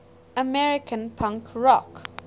american punk rock